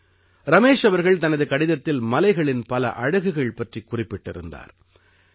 ரமேஷ் அவர்கள் தனது கடிதத்தில் மலைகளின் பல அழகுகள் பற்றிக் குறிப்பிட்டிருந்தார்